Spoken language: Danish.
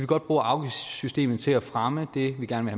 godt bruge afgiftssystemet til at fremme det vi gerne